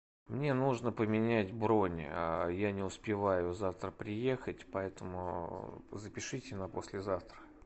мне нужно поменять бронь я не успеваю завтра приехать поэтому запишите на послезавтра